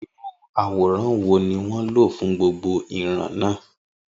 Irú àwòrán wo ni wọ́n lò fún gbogbo ìran náà?